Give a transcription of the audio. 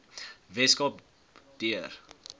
wes kaap deur